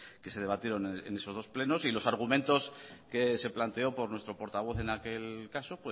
que se debatieron en esos dos plenos y los argumentos que se planteó por nuestro portavoz en aquel caso